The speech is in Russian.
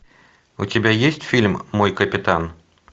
у тебя есть фильм мой капитан